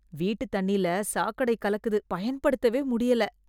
வீட்டு தண்ணில சாக்கடை கலக்குது , பயன்படுத்தவே முடியல.